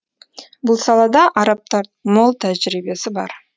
бұл салада арабтардың мол тәжірибесі бар